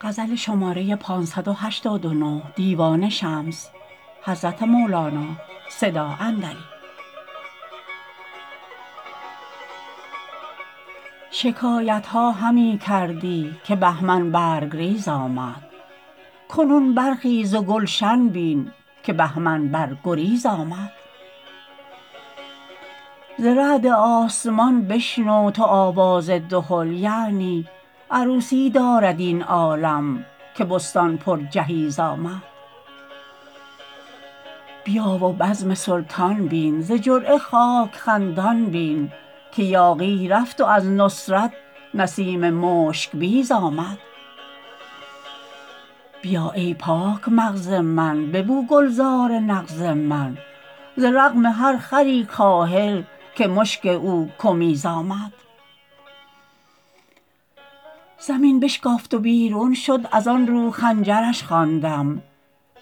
شکایت ها همی کردی که بهمن برگ ریز آمد کنون برخیز و گلشن بین که بهمن بر گریز آمد ز رعد آسمان بشنو تو آواز دهل یعنی عروسی دارد این عالم که بستان پرجهیز آمد بیا و بزم سلطان بین ز جرعه خاک خندان بین که یاغی رفت و از نصرت نسیم مشک بیز آمد بیا ای پاک مغز من ببو گلزار نغز من به رغم هر خری کاهل که مشک او کمیز آمد زمین بشکافت و بیرون شد از آن رو خنجرش خواندم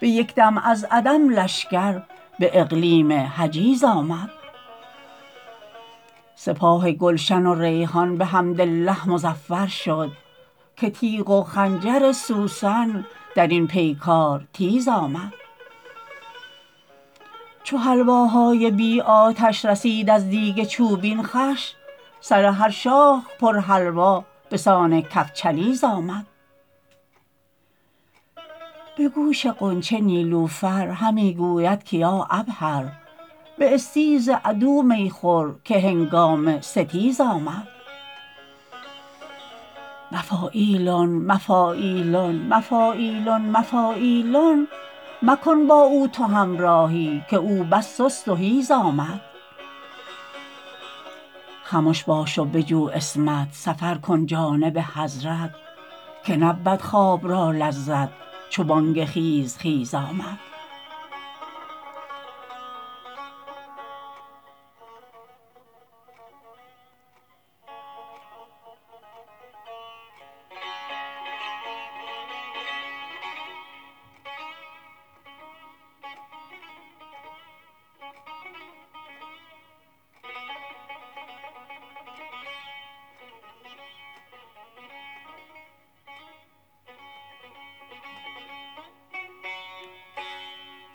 به یک دم از عدم لشکر به اقلیم حجیز آمد سپاه گلشن و ریحان بحمدالله مظفر شد که تیغ و خنجر سوسن در این پیکار تیز آمد چو حلواهای بی آتش رسید از دیگ چوبین خوش سر هر شاخ پرحلوا به سان کفچلیز آمد به گوش غنچه نیلوفر همی گوید که یا عبهر باستیز عدو می خور که هنگام ستیز آمد مفاعیلن مفاعیلن مفاعیلن مفاعیلن مکن با او تو همراهی که او بس سست و حیز آمد خمش باش و بجو عصمت سفر کن جانب حضرت که نبود خواب را لذت چو بانگ خیز خیز آمد